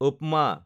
উপমা